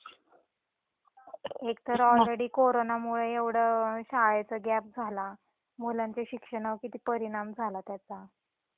एकतर ऑलरेडी कोरोनामुळ एवढ शाळेचा गॅप झाला. मुलांच्या शिक्षणावर किती परिणाम झाला त्याचा.